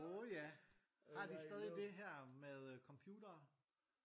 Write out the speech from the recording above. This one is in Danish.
Åh ja har de stadig det her med computere?